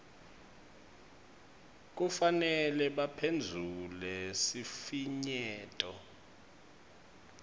kufanele baphendvule sifinyeto